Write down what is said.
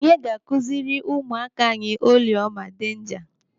Onye ga-akụziri ụmụaka anyị oliọma denja?